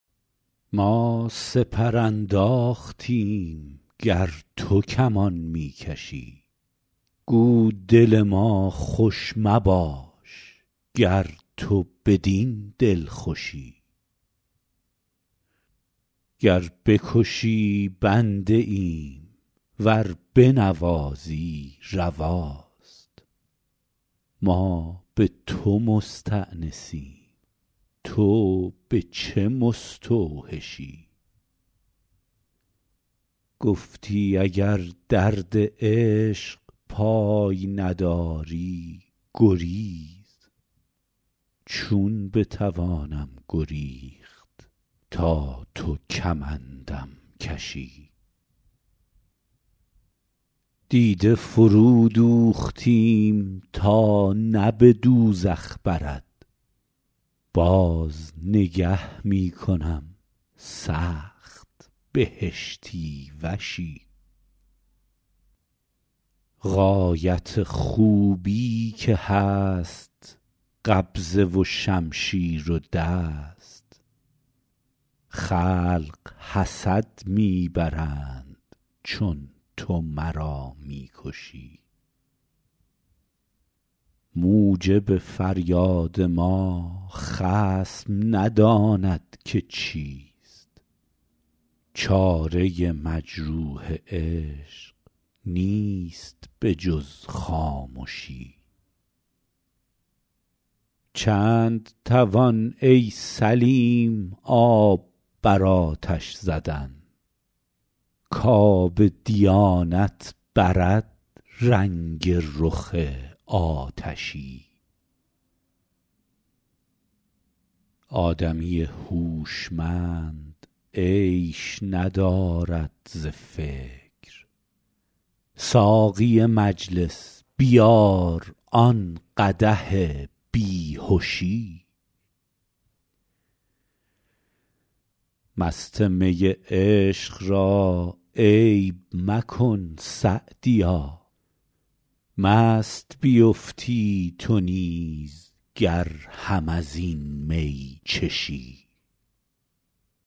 ما سپر انداختیم گر تو کمان می کشی گو دل ما خوش مباش گر تو بدین دلخوشی گر بکشی بنده ایم ور بنوازی رواست ما به تو مستأنسیم تو به چه مستوحشی گفتی اگر درد عشق پای نداری گریز چون بتوانم گریخت تا تو کمندم کشی دیده فرودوختیم تا نه به دوزخ برد باز نگه می کنم سخت بهشتی وشی غایت خوبی که هست قبضه و شمشیر و دست خلق حسد می برند چون تو مرا می کشی موجب فریاد ما خصم نداند که چیست چاره مجروح عشق نیست به جز خامشی چند توان ای سلیم آب بر آتش زدن کآب دیانت برد رنگ رخ آتشی آدمی هوشمند عیش ندارد ز فکر ساقی مجلس بیار آن قدح بی هشی مست می عشق را عیب مکن سعدیا مست بیفتی تو نیز گر هم از این می چشی